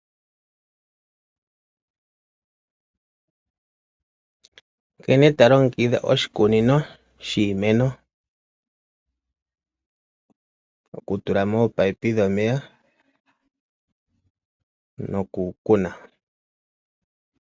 Nkene to longekidha oshikunino shiimeno. Oku tula mo oopipe dhomeya noku kuna.